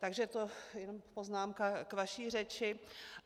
Takže to je poznámka k vaší řeči.